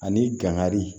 Ani gan kari